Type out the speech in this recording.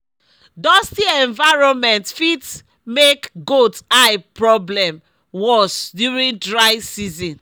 dusty environment fit make goat eye problem worse during dry season